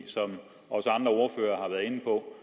som også andre ordførere har været inde på